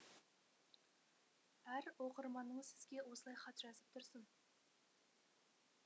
әр оқырманыңыз сізге осылай хат жазып тұрсын